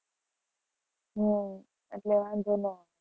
હમ એટલે વાંધો ન આવે.